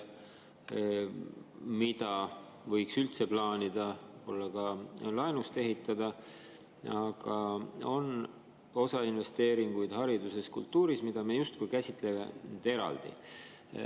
Põhimõtteliselt ju lisaks teedele, igasugu infrastruktuuri‑, taristuinvesteeringutele, mida võiks üldse plaanida võib-olla ka laenu abil ehitada, on osa investeeringuid hariduses, kultuuris, mida me justkui käsitleme eraldi.